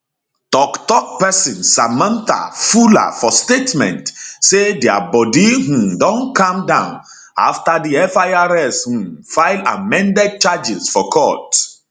toktok person samantha fuller for statement say dia body um don calm down afta di firs um file amended charges for court